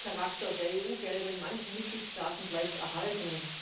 der Gadgetcharakter der EU Gelder in manchen Mitgliedstaaten bleibt erhalten.